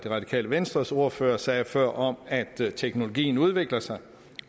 radikale venstres ordfører sagde før om at teknologien udvikler sig